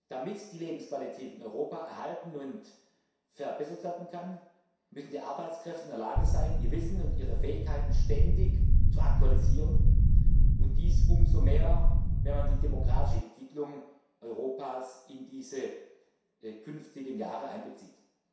Damit die Lebensqualität in Europa erhalten und verbessert werden kann, müssen die Arbeitskräfte in der Lage sein, ihr Wissen und ihre Fähigkeiten ständig zu aktualisieren, und dies umso mehr, wenn man die demografische Entwicklung Europas in diese künftigen Jahre einbezieht.